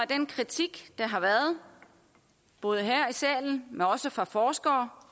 den kritik der har været både her i salen men også fra forskere